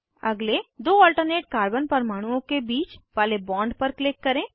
अगले दो alternate carbon परमाणुओं के बीच वाले बॉन्ड पर क्लिक करें